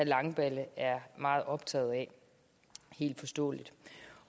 langballe er meget optaget af helt forståeligt